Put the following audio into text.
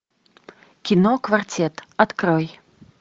кино квартет открой